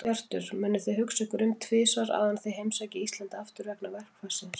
Hjörtur: Munuð þið hugsa ykkur um tvisvar áður en þið heimsækið Íslands aftur, vegna verkfallsins?